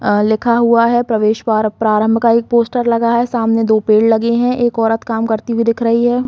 अ लिखा हुआ है प्रवेश वॉर प्रारम्भ का एक पोस्टर लगा है सामने दो पेड़ लगे है एक औरत काम करती हुई दिख रही है।